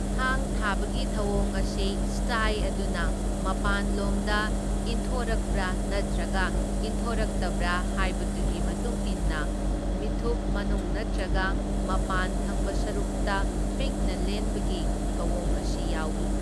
ꯊꯥꯡ ꯊꯥꯕꯒꯤ ꯊꯧꯑꯣꯡ ꯑꯁꯤ ꯁ꯭ꯇꯥꯏ ꯑꯗꯨꯅ ꯃꯄꯥꯟꯂꯣꯝꯗ ꯏꯟꯊꯣꯔꯛꯄ꯭ꯔꯥ ꯅꯠꯇ꯭ꯔꯒ ꯏꯟꯊꯣꯔꯛꯇꯕ꯭ꯔꯥ ꯍꯥꯏꯕꯗꯨꯒꯤ ꯃꯇꯨꯡ ꯏꯟꯅ ꯃꯤꯠꯊꯨꯞ ꯃꯅꯨꯡ ꯅꯠꯇ꯭ꯔꯒ ꯃꯄꯥꯟ ꯊꯪꯕ ꯁꯔꯨꯛꯇ ꯄꯤꯛꯅ ꯂꯦꯟꯕꯒꯤ ꯊꯧꯑꯣꯡ ꯑꯁꯤ ꯌꯥꯎꯏ꯫